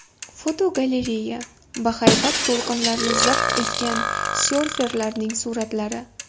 Fotogalereya: Bahaybat to‘lqinlarni zabt etgan syorferlarning suratlari.